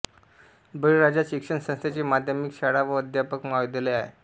बळीराजा शिक्षण संस्थेचे माध्यमिक शाळा व अध्यापक महाविद्यालय आहे